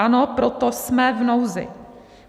Ano, proto jsme v nouzi.